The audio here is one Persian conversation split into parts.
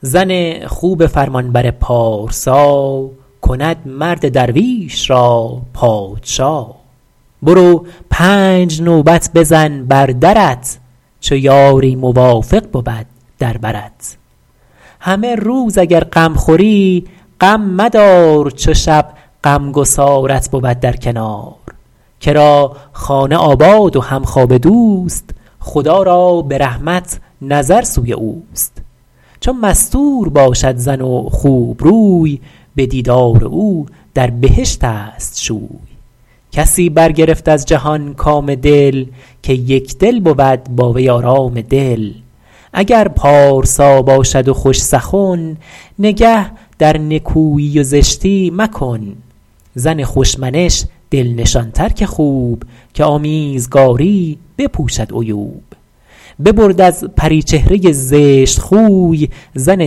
زن خوب فرمانبر پارسا کند مرد درویش را پادشا برو پنج نوبت بزن بر درت چو یاری موافق بود در برت همه روز اگر غم خوری غم مدار چو شب غمگسارت بود در کنار کرا خانه آباد و همخوابه دوست خدا را به رحمت نظر سوی اوست چو مستور باشد زن و خوبروی به دیدار او در بهشت است شوی کسی برگرفت از جهان کام دل که یکدل بود با وی آرام دل اگر پارسا باشد و خوش سخن نگه در نکویی و زشتی مکن زن خوش منش دل نشان تر که خوب که آمیزگاری بپوشد عیوب ببرد از پری چهره زشت خوی زن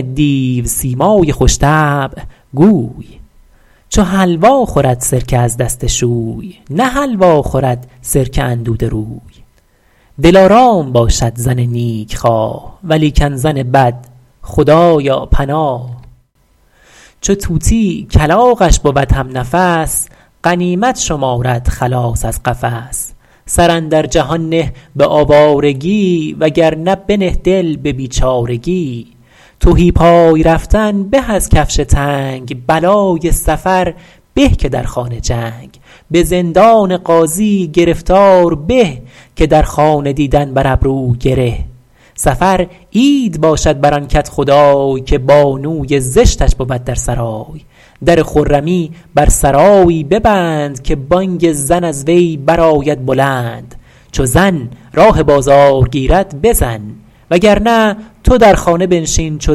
دیوسیمای خوش طبع گوی چو حلوا خورد سرکه از دست شوی نه حلوا خورد سرکه اندوده روی دلارام باشد زن نیک خواه ولیکن زن بد خدایا پناه چو طوطی کلاغش بود هم نفس غنیمت شمارد خلاص از قفس سر اندر جهان نه به آوارگی وگرنه بنه دل به بیچارگی تهی پای رفتن به از کفش تنگ بلای سفر به که در خانه جنگ به زندان قاضی گرفتار به که در خانه دیدن بر ابرو گره سفر عید باشد بر آن کدخدای که بانوی زشتش بود در سرای در خرمی بر سرایی ببند که بانگ زن از وی برآید بلند چو زن راه بازار گیرد بزن وگرنه تو در خانه بنشین چو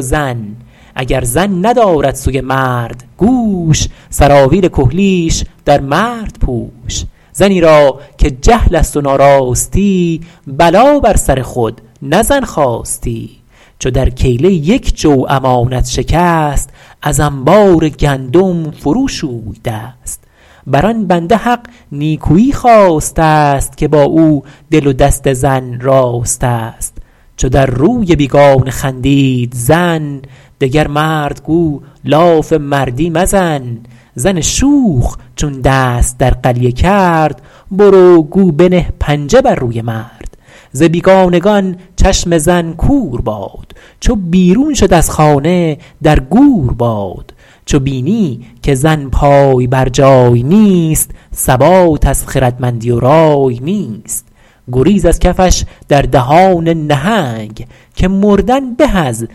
زن اگر زن ندارد سوی مرد گوش سراویل کحلیش در مرد پوش زنی را که جهل است و ناراستی بلا بر سر خود نه زن خواستی چو در کیله یک جو امانت شکست از انبار گندم فرو شوی دست بر آن بنده حق نیکویی خواسته است که با او دل و دست زن راست است چو در روی بیگانه خندید زن دگر مرد گو لاف مردی مزن زن شوخ چون دست در قلیه کرد برو گو بنه پنجه بر روی مرد ز بیگانگان چشم زن کور باد چو بیرون شد از خانه در گور باد چو بینی که زن پای برجای نیست ثبات از خردمندی و رای نیست گریز از کفش در دهان نهنگ که مردن به از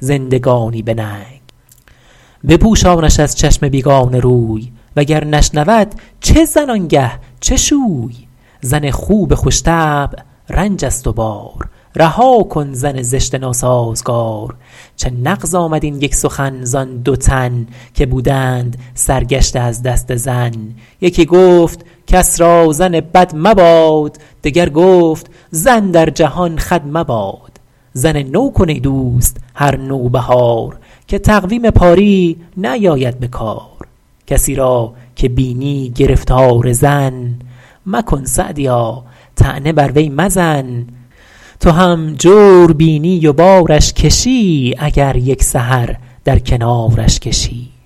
زندگانی به ننگ بپوشانش از چشم بیگانه روی وگر نشنود چه زن آنگه چه شوی زن خوب خوش طبع رنج است و بار رها کن زن زشت ناسازگار چه نغز آمد این یک سخن زآن دو تن که بودند سرگشته از دست زن یکی گفت کس را زن بد مباد دگر گفت زن در جهان خود مباد زن نو کن ای دوست هر نوبهار که تقویم پاری نیاید به کار کسی را که بینی گرفتار زن مکن سعدیا طعنه بر وی مزن تو هم جور بینی و بارش کشی اگر یک سحر در کنارش کشی